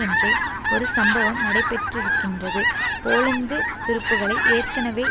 அன்றே ஒரு சம்பவம் நடைபெற்றிருக்கின்றது போலந்து துருப்புக்களை ஏற்கனவே